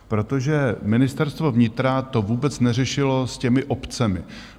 Protože Ministerstvo vnitra to vůbec neřešilo s těmi obcemi.